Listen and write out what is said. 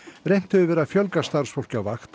reynt hefur verið að fjölga starfsfólki á vakt